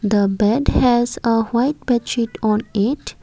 the bed has a white bed sheet on it.